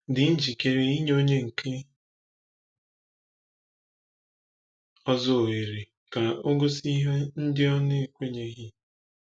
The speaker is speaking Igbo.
Dị njikere inye onye nke ọzọ ohere ka o gosi ihe ndị o kwenyeghi